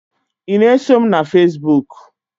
ị na-eso m na Fesibuku?